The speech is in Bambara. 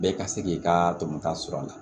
Bɛɛ ka se k'i ka tɔnɔ ta sɔr'a la